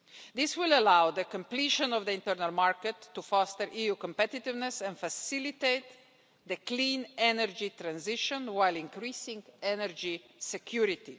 This will allow the completion of the internal market to foster EU competitiveness and facilitate the clean energy transition while increasing energy security.